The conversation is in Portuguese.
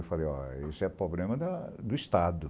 Eu falei, isso é problema da do Estado.